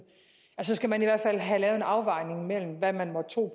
så skal man i hvert fald have lavet en afvejning af hvad man måtte tro